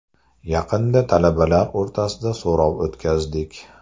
Yaqinda talabalar o‘rtasida so‘rov o‘tkazdik.